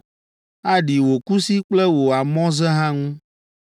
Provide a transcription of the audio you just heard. Aɖi wò kusi kple wò amɔze hã ŋu.